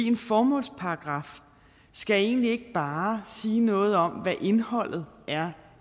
en formålsparagraf skal egentlig ikke bare sige noget om hvad indholdet